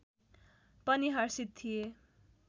पनि हर्षित थिए